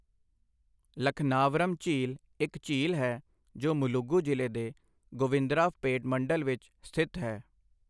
ਲਖਨਾਵਰਮ ਝੀਲ ਇੱਕ ਝੀਲ ਹੈ ਜੋ ਮੁਲੁਗੂ ਜ਼ਿਲ੍ਹੇ ਦੇ ਗੋਵਿੰਦਰਾਵਪੇਟ ਮੰਡਲ ਵਿੱਚ ਸਥਿਤ ਹੈ।